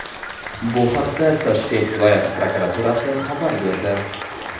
Bu haqda Toshkent viloyati prokuraturasi xabar berdi .